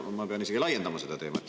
Ma pean isegi laiendama seda teemat.